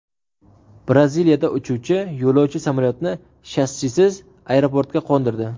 Braziliyada uchuvchi yo‘lovchi samolyotni shassisiz aeroportga qo‘ndirdi .